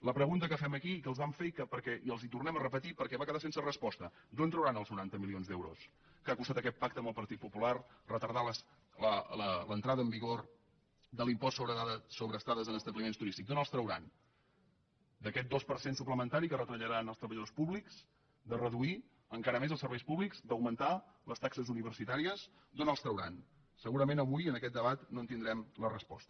la pregunta que fem aquí que els vam fer i que els tornem a repetir perquè va quedar sense resposta d’on trauran els noranta milions d’euros que ha costat aquest pacte amb el partit popular retardant l’entrada en vigor de l’impost sobre estades en establiments turístics d’on els trauran d’aquest dos per cent suplementari que retallaran als treballadors públics de reduir encara més els serveis públics d’augmentar les taxes universitàries d’on els trauran segurament avui en aquest debat no en tindrem la resposta